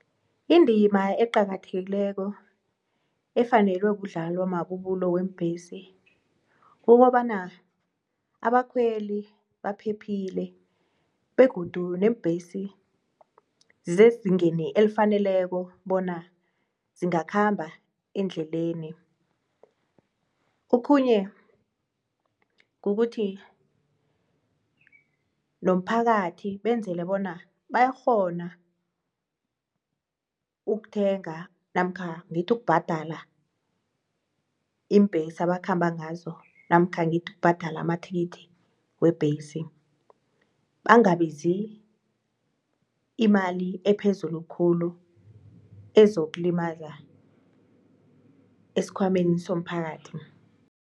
Indima eqakathekileko efanelwe kudlalwa mabubulo weembhesi kukobana abakhweli baphephile begodu neembhesi zezingeni elifaneleko bona zingakhamba endleleni. Okhunye kukuthi nomphakathi benzele bona bayakghona ukuthenga namkha ngithi ukubhadala iimbhesi abakhamba ngazo namkha ngithi ukubhadala amathikithi webhesi bangabizi imali ephezulu khulu ezokulimaza esikhwameni somphakathi.